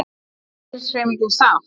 Er verkalýðshreyfingin sátt?